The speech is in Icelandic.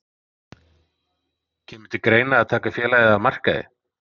Kemur til greina að taka félagið af markaði?